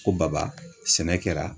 Ko baba sɛnɛ kɛra.